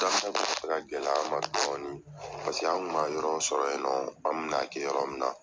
Daminɛ kun bɛ fɛ ka gɛlɛya an ma dɔɔni, paseke an kun ma yɔrɔ sɔrɔ yen nɔn, an bɛn'a kɛ yɔrɔ min na.